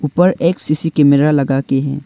ऊपर एक C C camera लगा के है।